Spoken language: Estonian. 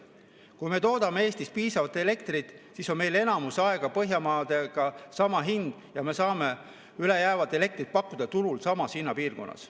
Kui me toodame Eestis piisavalt elektrit, siis on meil enamus aega Põhjamaadega sama hind ja me saame üle jäävat elektrit pakkuda turul samas hinnapiirkonnas.